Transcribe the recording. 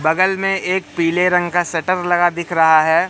बगल में एक पीले रंग का सटर लगा दिख रहा है।